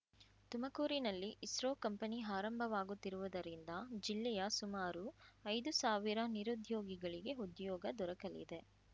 ತುಮಕೂರಿನಲ್ಲಿ ISRO company ಆರಂಭವಾಗುತ್ತಿರುವುದರಿಂದ ಜಿಲ್ಲೆಯ ಸುಮಾರು ಐದು ಸಾವಿರ ನಿರುದ್ಯೋಗಿಗಳಿಗೆ ಉದ್ಯೋಗ ದೊರಕಲಿದೆ